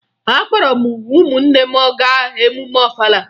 Akpọrọ m ụmụnne m gaa emume Ọfala